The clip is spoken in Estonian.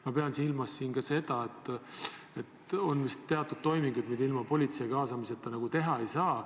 Ma pean silmas ka seda, et on vist teatud toimingud, mida ilma politseid kaasamata teha ei saa.